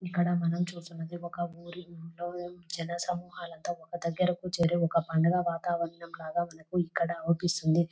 ఇక్కడ మనం చూస్తున్నదే ఒక ఊరి జన సమూహాలు అంత ఒక దగ్గరకు చేరి ఒక పండుగ వాతావరణం లాగా మనకు ఇక్కడ అనిపిస్తుంది.